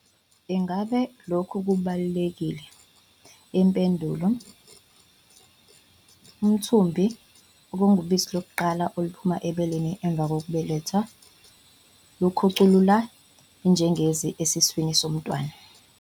Ingabe lokhu kubalulekile? Impendulo- Umthubi, okungubisi lokuqala oluphuma ebeleni emuva kokubeletha, lukhuculula ijengezi esiswini somntwana.